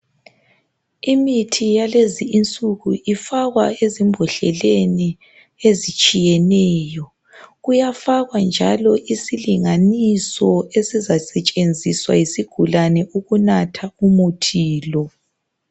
Imithi yalezi insuku ifakwa eziibhodleni ezitshiyeneyo. Kuyafakwa njalo isilinganiso esizasetshenziswa yisigulane ukunatha umuthi lo.